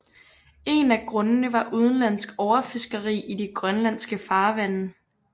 En af hovedgrundene var udenlandsk overfiskeri i de grønlandske farvande